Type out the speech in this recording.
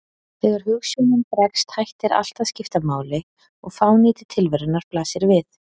Þegar hugsjónin bregst, hættir allt að skipta máli og fánýti tilverunnar blasir við.